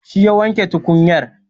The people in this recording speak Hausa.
Shi ya wanke tukunyar.